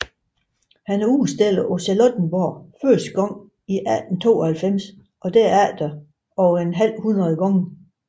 Han udstillede på Charlottenborg første gang i 1892 og derefter over et halvhundrede gange